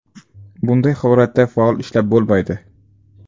Bunday holatda fol ishlab bo‘lmaydi.